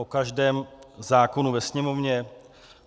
O každém zákonu ve sněmovně?